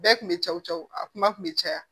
Bɛɛ kun bɛ cɛw cɛw a kuma kun bɛ caya